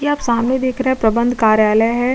ये आप सामने देख रहे है प्रबंध कार्यालय है।